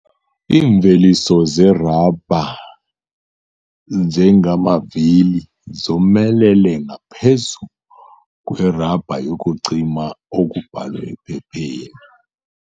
Iimveliso zerabha njengamavili zomelele ngaphezu kwerabha yokucima okubhalwe ephepheni.